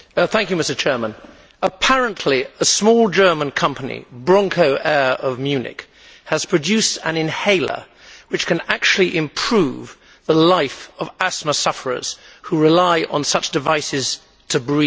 Mr President, apparently, a small German company, BronchoAir of Munich, has produced an inhaler which can actually improve the life of asthma sufferers who rely on such devices to breathe.